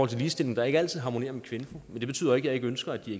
til ligestilling der ikke altid harmonerer med kvinfo men det betyder ikke at jeg ønsker at de